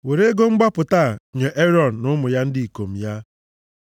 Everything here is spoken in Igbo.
Were ego mgbapụta a nye Erọn na ụmụ ndị ikom ya.”